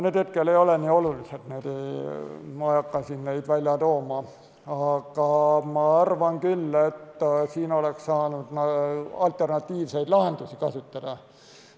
Need hetkel ei ole nii olulised, neid ma ei hakka välja tooma, aga ma arvan küll, et siin oleks saanud alternatiivseid lahendusi kasutada.